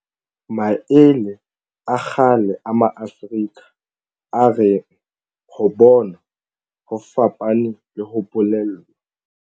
Maele a kgale a Maafrika a reng ho bona ho fapane le ho bolellwa.